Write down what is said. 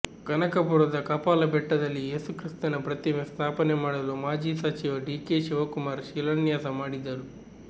ಕನಕಪುರದ ಕಪಾಲ ಬೆಟ್ಟದಲ್ಲಿ ಏಸುಕ್ರಿಸ್ತನ ಪ್ರತಿಮೆ ಸ್ಥಾಪನೆ ಮಾಡಲು ಮಾಜಿ ಸಚಿವ ಡಿಕೆ ಶಿವಕುಮಾರ್ ಶಿಲಾನ್ಯಾಸ ಮಾಡಿದ್ದರು